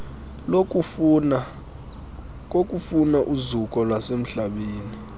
kokufuna uzuko lwasemhlabeni